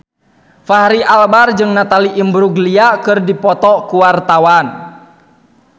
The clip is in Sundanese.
Fachri Albar jeung Natalie Imbruglia keur dipoto ku wartawan